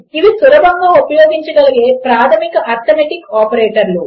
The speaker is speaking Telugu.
ఇవి సులభముగా ఉపయోగించగలిగే ప్రాధమిక అర్థమాటిక్ ఆపరేటర్లు